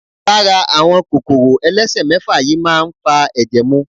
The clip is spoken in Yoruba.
Lara àwọn kòkòrò elesemefa yìí máa ń fa ẹ̀jẹ̀ mu.